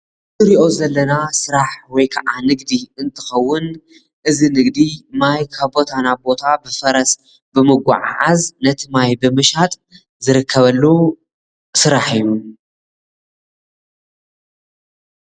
እዚ እንሪኦ ዘለና ስራሕ ወይ ከዓ ንግዲ እንትኸውን እዚ ንግዲ ማይ ካብ ቦታ ናብ ቦታ ብፈረስ ብመጓዕዓዝ ነቲ ማይ ብምሻጥ ዝርከበሉ ስራሕ እዩ።